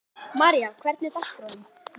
María, hvernig er dagskráin?